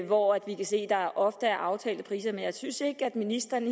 hvor vi kan se at der ofte er aftalte priser men jeg synes ikke at ministeren